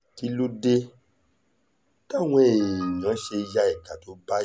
kí ló dé táwọn èèyàn ya ìka tó báyìí